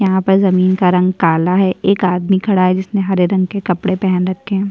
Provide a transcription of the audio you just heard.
यहां पर जमीन का रंग काला है एक आदमी खड़ा है जिसने हरे रंग के कपड़े पहन रखें है |